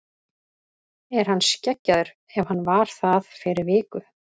Er hann skeggjaður ef hann var það fyrir viku?